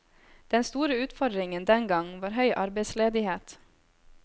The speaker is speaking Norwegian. Den store utfordringen den gang var høy arbeidsledighet.